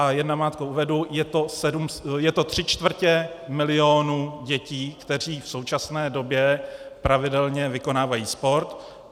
A jen namátkou uvedu, je to tři čtvrtě milionů dětí, které v současné době pravidelně vykonávají sport.